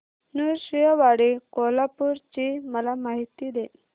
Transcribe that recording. नृसिंहवाडी कोल्हापूर ची मला माहिती दे